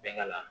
Bɛɛ ka